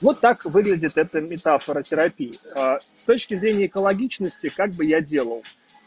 вот так выглядит эта метафора терапии с точки зрения экологичности как бы я делал